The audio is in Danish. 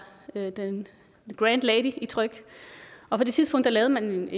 the grand lady i tryg og på det tidspunkt lavede man